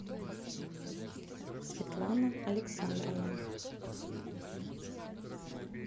светлана александровна